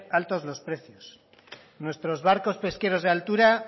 alto los precios nuestros barcos pesqueros de altura